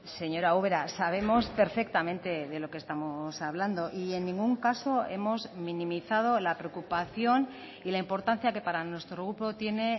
señora ubera sabemos perfectamente de lo que estamos hablando y en ningún caso hemos minimizado la preocupación y la importancia que para nuestro grupo tiene